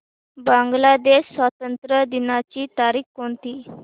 बांग्लादेश स्वातंत्र्य दिनाची तारीख कोणती